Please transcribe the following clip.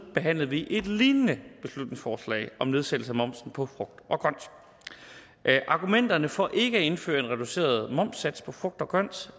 behandlede vi et lignende beslutningsforslag om nedsættelse af momsen på frugt og grønt argumenterne for ikke at indføre en reduceret momssats på frugt og grønt